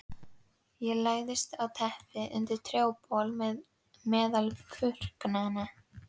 Ég lagðist á teppið undir trjábol meðal burknanna.